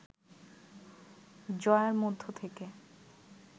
জয়ার মধ্য থেকে